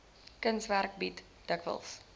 kunswerke bied dikwels